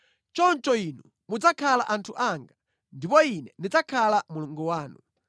“Choncho inu mudzakhala anthu anga, ndipo Ine ndidzakhala Mulungu wanu.”